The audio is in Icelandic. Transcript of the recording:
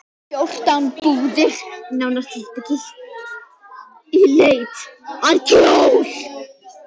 Fjórtán búðir, nánar tiltekið, í leit að kjól.